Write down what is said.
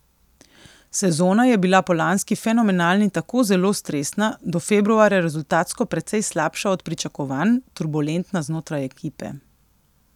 Sezona je bila po lanski fenomenalni tako zelo stresna, do februarja rezultatsko precej slabša od pričakovanj, turbulentna znotraj ekipe.